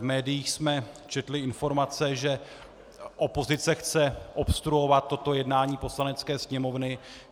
V médiích jsme četli informace, že opozice chce obstruovat toto jednání Poslanecké sněmovny.